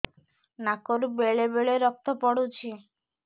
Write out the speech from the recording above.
ନାକରୁ ବେଳେ ବେଳେ ରକ୍ତ ପଡୁଛି